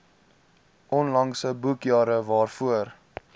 onlangse boekjare waarvoor